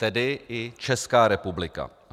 Tedy i Česká republika.